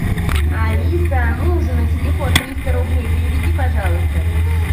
алиса мужу на телефон триста рублей переведи пожалуйста